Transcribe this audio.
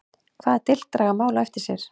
Hvaða dilk draga mál á eftir sér?